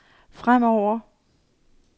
fremover